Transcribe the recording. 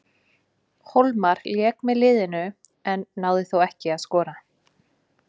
Hólmar lék með liðinu, en náði þó ekki að skora.